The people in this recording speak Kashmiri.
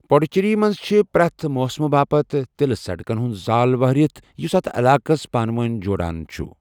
پڈوچیری منٛز چھِ پریتھ موسمہٕ باپت تیلہٕ سڑکن ہُنٛد زال وہرِتھ یُس اتھ علاقس پانہٕ وٲنۍ جوڑان چھُ۔